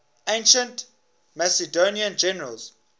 ancient macedonian generals